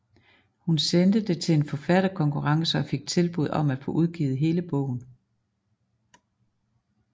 Hun sendte det til en forfatterkonkurrence og fik tilbud om at få udgivet hele bogen